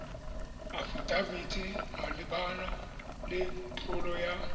afidafiti malebana le tlolo ya